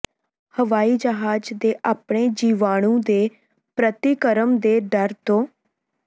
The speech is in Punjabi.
ਹਵਾਈ ਜਹਾਜ ਦੇ ਆਪਣੇ ਜੀਵਾਣੂ ਦੇ ਪ੍ਰਤੀਕਰਮ ਦੇ ਡਰ ਤੋਂ